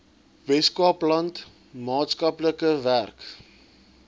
weskaapland maatskaplike werk